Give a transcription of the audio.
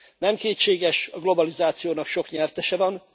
Nem kétséges, a globalizációnak sok nyertese van.